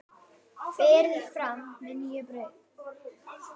Berið fram með nýju brauði.